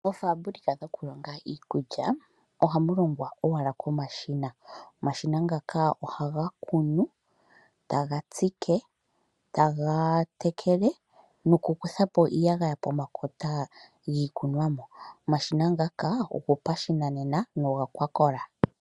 Oofambulika dhokulonga iikulya ohamolongwa owala komashina. Omashina ngaka ohaga kunu, taga tsike, taga tekele nokukuthapo iiyagaya ponakota giikunonwa. Omashina ngaka ogopashinanena no geli ga kola.